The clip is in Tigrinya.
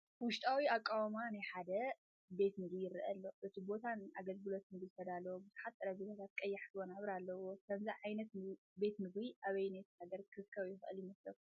ውሽጣዊ ኣቃውማ ናይ ሓደ ቤት ምግቢ ይረአ ኣሎ። እቲ ቦታ ንኣገልግሎት ምግቢ ዝተዳለወ ብዙሓት ጠረጴዛታትን ቀያሕቲ መንበርን ኣለዎ። ከምዚ ዓይነት ቤት ምግቢ ኣብ ኣየነይቲ ሃገር ክርከብ ይኽእል ይመስለኩም?